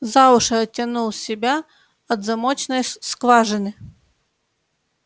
за уши оттянул себя от замочной скважины